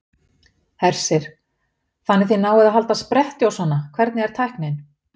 Hersir: Þannig þið náið að halda spretti og svona, hvernig er tæknin?